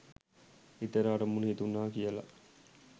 හිතට අරමුණු හිතුණා කියලා